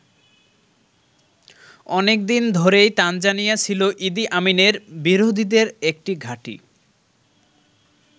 অনেক দিন ধরেই তানজানিয়া ছিল ইদি আমিনের বিরোধীদের একটি ঘাঁটি।